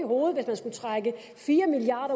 hovedet at trække fire milliard